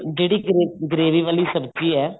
ਜਿਹੜੀ gravy ਵਾਲੀ ਸਬਜੀ ਹੈ